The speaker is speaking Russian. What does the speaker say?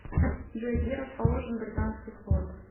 джой где расположен британский флот